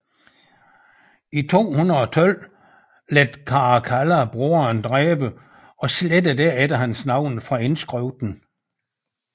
I 212 lod Caracalla broderen dræbe og slettede derefter hans navn fra indskriften